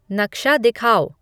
नक्शा दिखाओ